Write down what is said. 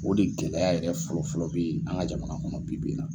O de gɛlɛya yɛrɛ fɔlɔ fɔlɔ be yen an ga jamana kɔnɔ bi bi yen na.